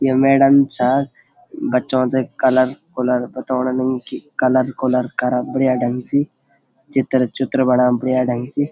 या मैडम छा बच्चों थे कलर -कुलर बथोणा लगी कि कलर -कुलर करा बढ़िया ढंग से चित्र-चुत्र बणा बढ़िया ढंग से।